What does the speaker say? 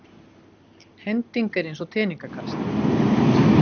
Hending er eins og teningakast.